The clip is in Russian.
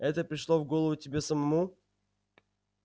это пришло в голову тебе самому